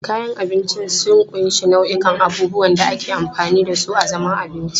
Kayan abinci sun ƙunshi nau'ikan abubuwan da ake amfani da su a zaman abinci.